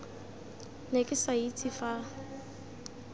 ne ke sa itse fa